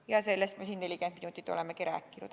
Ja sellest me siin 40 minutit olemegi rääkinud.